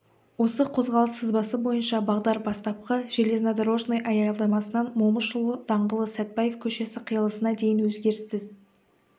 осы қозғалыс сызбасы бойынша бағдар бастапқы железнодорожный аялдамасынан момышұлы даңғылы сәтпаев көшесі қиылысына дейін өзгеріссіз